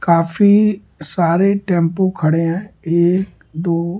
काफी सारे टेंपो खड़े हैं एक दो --